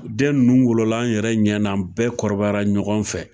U den ninnu wolola an yɛrɛ ɲɛna bɛɛ kɔrɔbayara ɲɔgɔn fɛ